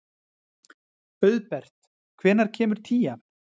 Auðbert, hvenær kemur tían?